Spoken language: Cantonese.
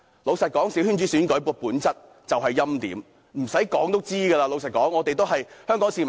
老實說，小圈子選舉的本質就是欽點，無需多說，這是大家都知道的事情。